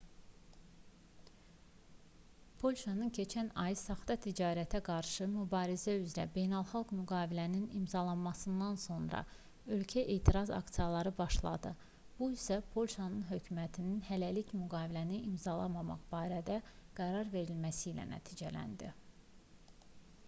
polşanın keçən ay saxta ticarətə qarşı mübarizə üzrə beynəlxalq müqaviləni imzalamasından sonra ölkədə etiraz aksiyaları başladı bu isə polşa hökumətinin hələlik müqaviləni imzalamamaq barədə qərar verməsi ilə nəticələndi